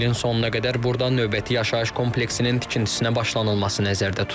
İlin sonuna qədər burda növbəti yaşayış kompleksinin tikintisinə başlanılması nəzərdə tutulub.